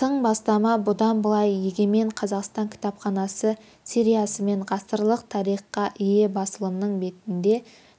тың бастама бұдан былай егемен қазақстан кітапханасы сериясымен ғасырлық тарихқа ие басылымның бетінде